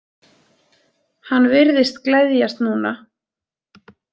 Hann virðist gleðjast núna.